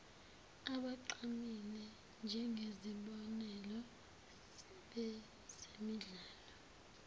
abagqamile njengezibonelo bezemidlalo